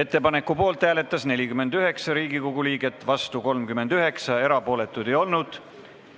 Ettepaneku poolt hääletas 49 Riigikogu liiget, vastu 39, erapooletuid ei olnud.